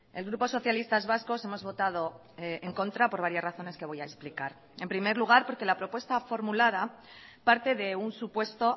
el grupo socialistas vascos hemos votado en contra por varias razones que voy a explicar en primer lugar porque la propuesta formulada parte de un supuesto